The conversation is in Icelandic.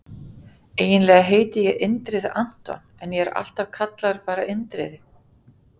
Eiginlega heiti ég Indriði Anton en ég er alltaf kallaður bara Indriði.